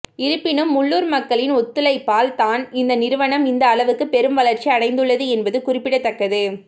இருப்பினும் உள்ளூர் மக்களின் ஒத்துழைப்பால் தான் இந்த நிறுவனம் இந்த அளவுக்கு பெரும் வளர்ச்சி அடைந்துள்ளது என்பது குறிப்பிடத்தக்கது